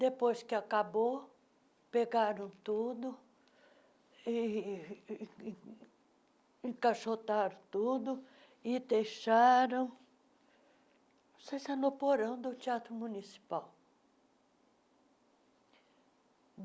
Depois que acabou, pegaram tudo, ih encaixotaram tudo e deixaram... Não sei se era no porão do Teatro Municipal.